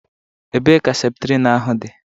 Ebee ka Septrin ahụ dị?